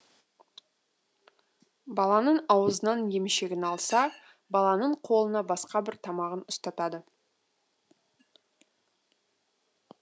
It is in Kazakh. баланың аузынан емшегін алса баланың қолына басқа бір тамағын ұстатады